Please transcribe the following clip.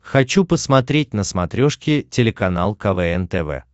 хочу посмотреть на смотрешке телеканал квн тв